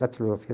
Taquigrafia.